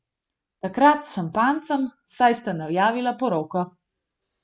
Takrat s šampanjcem, saj sta najavila poroko.